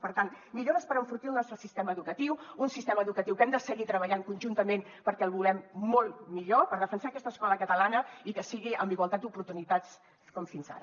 per tant millores per enfortir el nostre sistema educatiu un sistema educatiu que hem de seguir treballant conjuntament perquè el volem molt millor per defensar aquesta escola catalana i que sigui en igualtat d’oportunitats com fins ara